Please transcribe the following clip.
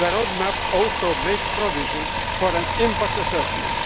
The road map also makes provision for an impact assessment.